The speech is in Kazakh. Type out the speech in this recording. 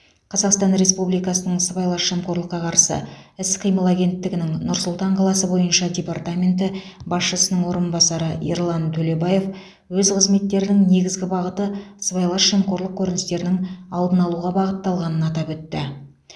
қазақстан республикасының сыбайлас жемқорлыққа қарсы іс қимыл агенттігінің нұр сұлтан қаласы бойынша департаменті басшысының орынбасары ерлан төлебаев өз қызметтерінің негізгі бағыты сыбайлас жемқорлық көріністерінің алдын алуға бағытталғанын атап өтті